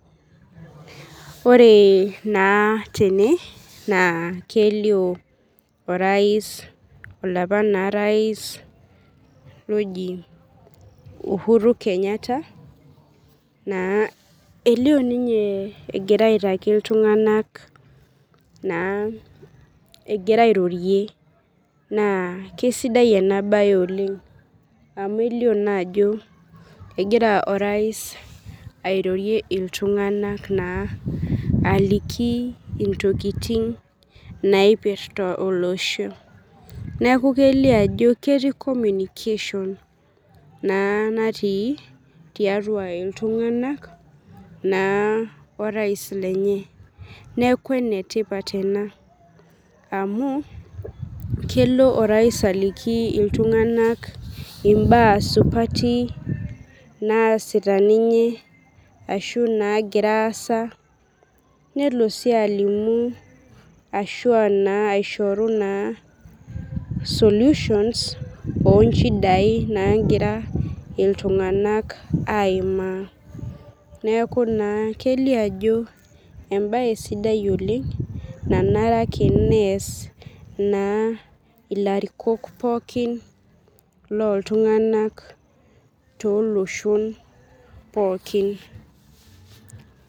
Ore na tene na kelio orais olapa na rais oji uhuru kenyatta elio ninye egira aitaki ltunganak egira airorie na kesidai enabae amu elio naa ajo egira orais airorie ltunganak naa aliki ntokitin naipirta olosho neaku kelio ajo ketii communication na natii tiatua ltunganak na orais lenye neaku enetipat ena amu kelo orais aliki ltunganak imbaa supati naasita ninye ashu nagira aasa, nelo na alimu ashu na solutions[ onchidai nagira ltunganak aimaa neaku na kelio ajo embae sidai oleng ilarikok pooki loltunganak toloshon pookin.